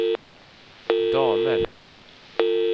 damer